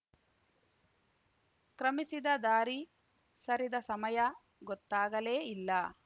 ಕ್ರಮಿಸಿದ ದಾರಿ ಸರಿದ ಸಮಯ ಗೊತ್ತಾಗಲೇ ಇಲ್ಲ